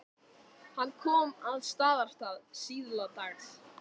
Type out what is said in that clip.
Hann kom að Staðarstað síðla dags.